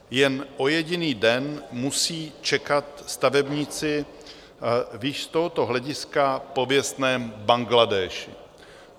Jen o jediný den musí čekat stavebníci v již z tohoto hlediska pověstném Bangladéši.